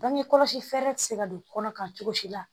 Bange kɔlɔsi fɛɛrɛ tɛ se ka don kɔnɔ kan cogo si la